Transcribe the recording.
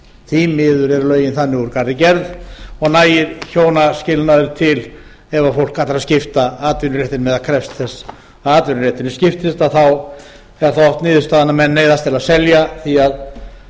því miður eru lögin þannig úr garði gerð og nægir hjónaskilnaður til ef fólk ætlar að skipta atvinnuréttinum eð krefst þess að atvinnurétturinn skiptist að þá er það oft niðurstaðan að menn neyðast til að selja því að